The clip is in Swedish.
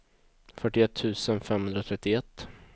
fyrtioett tusen femhundratrettioett